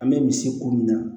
An bɛ misi ko min na